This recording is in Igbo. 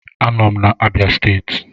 Anọ m na Abia steeti